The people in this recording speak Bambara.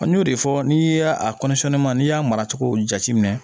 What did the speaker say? An y'o de fɔ n'i y'a ma n'i y'a mara cogow jateminɛ